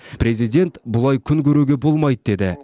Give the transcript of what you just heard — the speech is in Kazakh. президент бұлай күн көруге болмайды деді